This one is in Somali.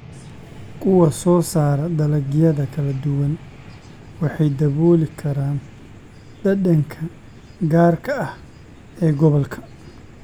Kuwa soo saara dalagyada kala duwan waxay dabooli karaan dhadhanka gaarka ah ee gobolka.